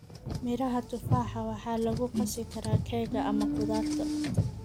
Miraha tufaaxa waxa lagu qasi karaa keega ama khudaarta.